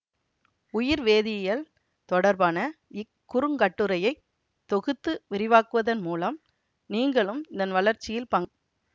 உயிர்வேதியியல் தொடர்பான இக் குறுங்கட்டுரையை தொகுத்து விரிவாக்குவதன் மூலம் நீங்களும் இதன் வளர்ச்சியில் பங்